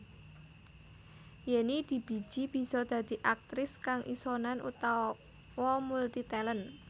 Yenny dibiji bisa dadi aktris kang isonan utawa multi talent